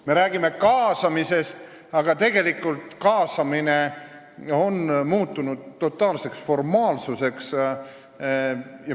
Me räägime kaasamisest, aga tegelikult on kaasamine muutunud totaalseks formaalsuseks.